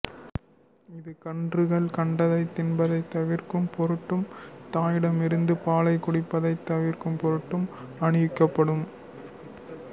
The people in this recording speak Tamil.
இது கன்றுகள் கண்டதைத் தின்பதைத் தவிர்க்கும் பொருட்டும் தாயிடமிருந்து பாலைக் குடிப்பதைத் தவிர்க்கும் பொருட்டும் அணிவிக்கப்படும்